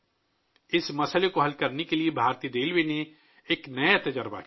اس مشکل پر قابو پانے کے لیے بھارتی ریلوے نے ایک نیا تجربہ کیا